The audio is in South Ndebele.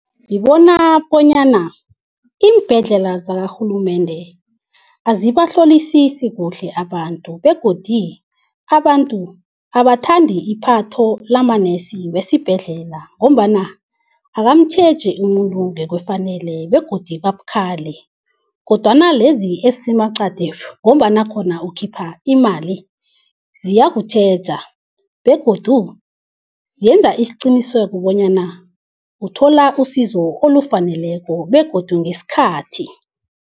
Ngibona bonyana iimbhedlela zakarhulumende azibahlolisisi kuhle abantu begodu abantu abathandi ipatho lamanesi wesibhedlela ngombana akamtjheji umuntu ngokufaneleko begodu babukhali. Kodwana lezi ezisemaqadi ngombana khona ukhipha imali ziyokutjheja begodu zenza isiqiniseko bonyana uthola isizo olufaneleko begodu ngesikhathi.